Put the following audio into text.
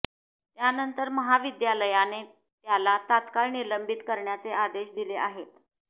त्यानंतर महाविद्यालयाने त्याला तत्काळ निलंबित करण्याचे आदेश दिले आहेत